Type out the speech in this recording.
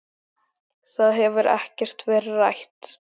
Það hefur ekkert verið rætt.